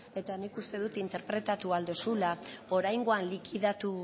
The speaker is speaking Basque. eta nik uste dot interpretatu ahal dozula oraingoan likidatu